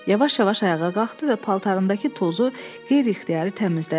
Yavaş-yavaş ayağa qalxdı və paltarındakı tozu qeyri-ixtiyari təmizlədi.